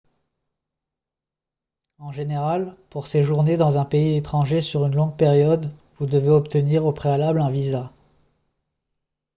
en général pour séjourner dans un pays étranger sur une longue période vous devez obtenir au préalable un visa